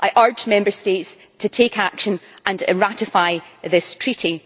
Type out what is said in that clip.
I urge Member States to take action and ratify this treaty.